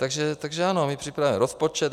Takže ano, my připravujeme rozpočet.